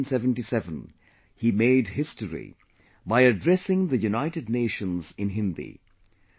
In 1977, he made history by addressing the United Nations in Hindi